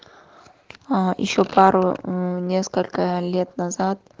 а ещё пару несколько лет назад